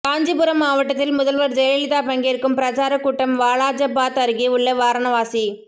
காஞ்சிபுரம் மாவட்டத்தில் முதல்வர் ஜெயலலிதா பங்கேற்கும் பிரசாரக் கூட்டம் வாலாஜபாத் அருகே உள்ள வாரணவாசி